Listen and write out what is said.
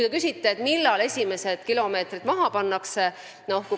Te küsisite, millal esimesed kilomeetrid maha pannakse.